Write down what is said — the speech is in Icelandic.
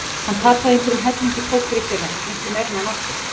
Hann tapaði einhverjum helling í póker í fyrra, miklu meira en hann átti.